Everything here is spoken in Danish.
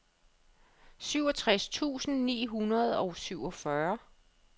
syvogtres tusind ni hundrede og syvogfyrre